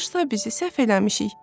Bağışla bizi, səhv eləmişik.